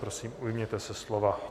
Prosím, ujměte se slova.